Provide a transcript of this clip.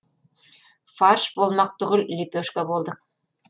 фарш болмақ түгіл лепешка болдық